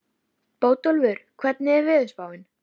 Bótólfur, hvernig er veðurspáin?